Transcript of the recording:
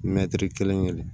kelen kelen